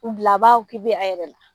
U bila a b'a a yɛrɛ la